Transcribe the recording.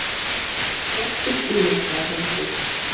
Ég er stoltur stuðningsmaður landsliðsins.